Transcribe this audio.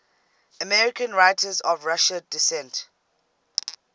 american writers of russian descent